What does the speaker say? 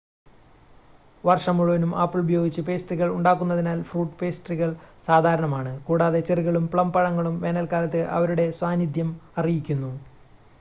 വർഷം മുഴുവനും ആപ്പിൾ ഉപയോഗിച്ച് പേസ്ട്രികൾ ഉണ്ടാക്കുന്നതിനാൽ ഫ്രൂട്ട് പേസ്ട്രികൾ സാധാരണമാണ് കൂടാതെ ചെറികളും പ്ലം പഴങ്ങളും വേനൽക്കാലത്ത് അവരുടെ സാന്നിധ്യം അറിയിക്കുന്നു